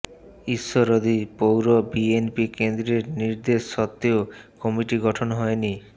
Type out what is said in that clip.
ঈশ্বরদী পৌর বিএনপি কেন্দ্রের নির্দেশ সত্ত্বেও কমিটি গঠন হয়নি